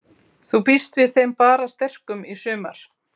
Þú býst við þeim bara sterkum í sumar?